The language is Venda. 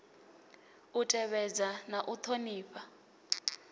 u tevhedza na u ṱhonifha